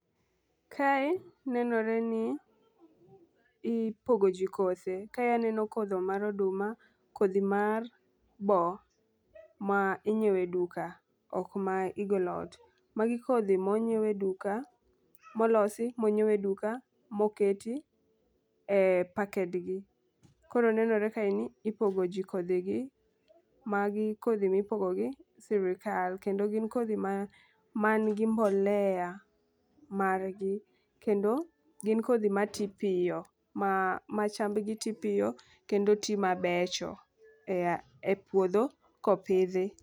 Kae nenore ni ipogo jii kothe. Kae aneno kodhi mar oduma ,kodhi mar boo ma inyiewe duka ok ma igolo ot. Magi kodhi mo nyiewe duka molosi moyiewe duka moketi e pakedgi .Koro nenore kae ni ipogo ji kodhi gi. Magi kodhi ma ipogo gi sirikal kendo gin kodhi man gi mbolea margi kendo gin kodhi mati piyo ma ma chamb gi tii piyo kendo tii mabecho ea e puodho kopidhi.